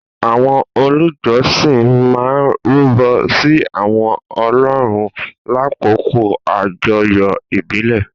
àwọn olùjọsìn máa ń rúbọ sí àwọn ọlọ́run lákòókò àjọyọ̀ ìbílẹ̀.